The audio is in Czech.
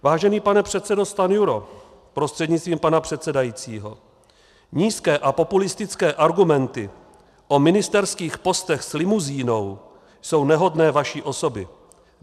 Vážený pane předsedo Stanjuro prostřednictvím pana předsedajícího, nízké a populistické argumenty o ministerských postech s limuzínou jsou nehodné vaší osoby.